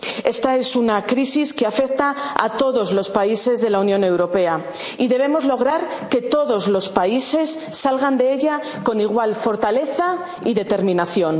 Esta es una crisis que afecta a todos los países de la Unión Europea y debemos lograr que todos los países salgan de ella con igual fortaleza y determinación.